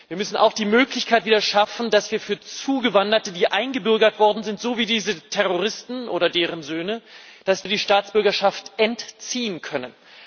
Wir müssen auch wieder die Möglichkeit schaffen, dass wir Zugewanderten, die eingebürgert worden sind so wie diese Terroristen oder deren Söhnen die Staatsbürgerschaft entziehen können.